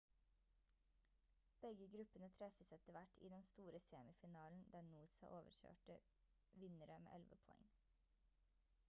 begge gruppene treffes etter hvert i den store semifinalen der noosa overkjørte vinnere med 11 poeng